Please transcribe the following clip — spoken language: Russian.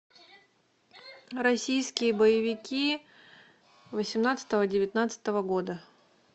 российские боевики восемнадцатого девятнадцатого года